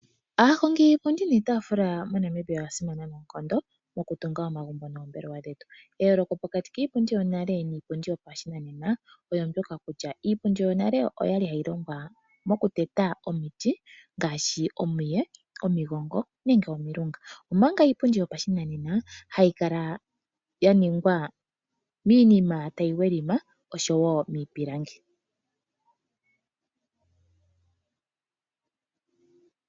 Aahongi yiipundi niitaafula moNamibia oya simana noonkondo mokutunga omagumbo noombelewa dhetu. Eyooloko pokati kiipundi yonale niipundi yopashinanena olyo ndyoka kutya iipundi yonale okwali hayi longwa mokuteta omiti, ngaashi omiye, omigongo nenge omilunga. Omanga iipundi yopashinanena hayi kala yaningwa miinima tayi welima osho wo miipilangi.